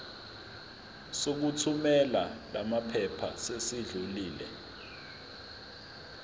sokuthumela lamaphepha sesidlulile